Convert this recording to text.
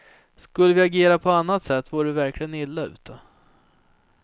Skulle vi agera på annat sätt vore vi verkligen illa ute.